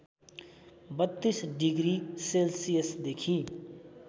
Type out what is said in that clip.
३२ degree सेल्सियसदेखि